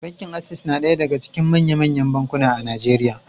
Bankin Access na ɗaya daga cikin manya-manyan bankuna a Najeriya.